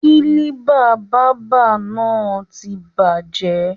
kílíbà bàbá náà ti bàjẹ́